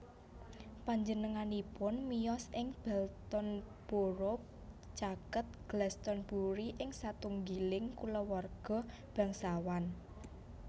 Panjenenganipun miyos ing Baltonsborough caket Glastonbury ing satunggiling kulawarga bangsawan